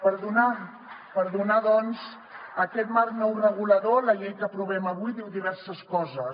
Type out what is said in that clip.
per donar doncs aquest marc nou regulador la llei que aprovem avui diu diverses coses